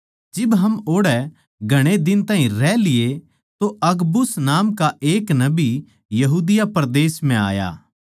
जिब हम ओड़ै घणे दिन ताहीं रह लिये तो अगबुस नाम का एक नबी यहूदी परदेस म्ह आया